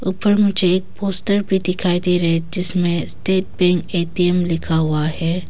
पर मुझे पोस्टर भी दिखाई दे रहे हैं जिसमें स्टेट बैंक ए_टी_एम लिखा हुआ है।